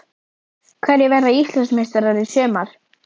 Hverjir verða Íslandsmeistarar í sumar?